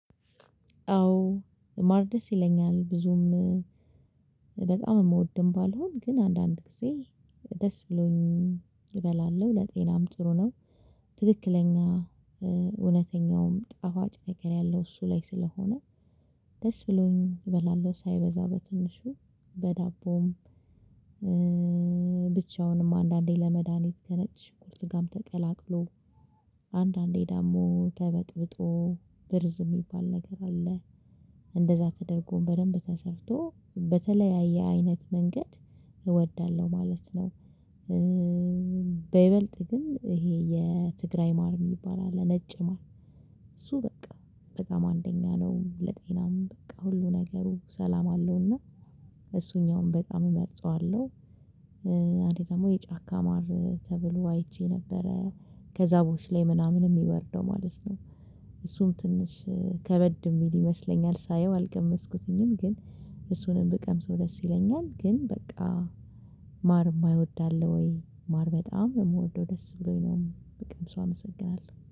አዎ ማር ደስ ይለኛል። ብዙም በጣም የምወድም ባልሆን ግን አንዳንድ ጊዜ ደስ ብሎኝ እበላለሁ ለጤናም ጥሩ ነው። ትክክለኛ ጣፋጭ ነገር ያለው እሱ ላይ ስለሆነ ደስ ብሎኝ እበላለሁ ሳይበዛ በትንሹ በዳቦም ብቻውንም አንዳንዴ ለመድሃኒት ከነጭ ሽንኩርት ጋም ተቀላቅሎ አንዳንዴ ደግሞ ተበጥብጦ ብርዝ የሚባል ነገር አለ እንደዛ ተደርጎም በደንብ ተሰርቶ በተለያየ አይነት መንገድ እወዳለሁ ማለት ነው። በይበልጥ ግን ይሄ የትግራይ ማር የሚባል አለ። ነጭ ማር እሱ በቃ በጣም አንደኛ ነው። ለጤናም በቃ ሁሉ ነገሩ ሰላም አለውና እሱኛውን በጣም እመርጠዋለው። አንዴ ደግሞ የጫካ ማር ተብሎ አይቼ ነበረ። ከዛፎች ላይ ምናምን የሚወርደው ማለት ነው። እሱም ትንሽ ከበድ የሚል ይመስለኛል ሳየው አልቀመስኩትኝም ግን እሱንም ብቀምሰው ደስ ይለኛል። ግን በቃ ማር የማይወድ አለ ወይ ማር በጣም የምወደው ደስ ብሎኝ ነው በቀምሰው አመሰግናለሁ።